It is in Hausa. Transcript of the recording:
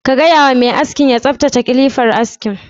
Ka gaywa mai askin ya tsaftace kilifar askin?